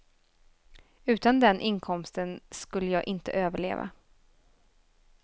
Utan den inkomsten skulle jag inte överleva.